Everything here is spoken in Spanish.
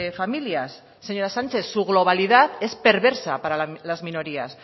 familias señora sánchez su globalidad es perversa para las minorías